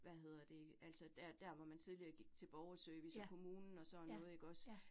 Hvad hedder det, altså der der, hvor man tidligere gik til borgerservice og kommunen og sådan noget ikke også